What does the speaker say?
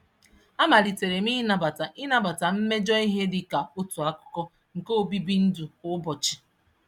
Á malitelam inabata inabata mmejọ ihe dịka otú akụkụ nke obibi ndụ kwá ụbọchị